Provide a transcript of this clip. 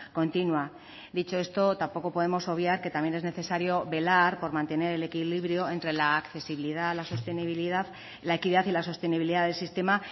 continua dicho esto tampoco podemos obviar que también es necesario velar por mantener el equilibrio entre la accesibilidad la sostenibilidad la equidad y la sostenibilidad del sistema